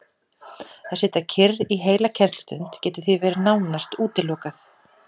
Að sitja kyrr í heila kennslustund getur því verið nánast útilokað.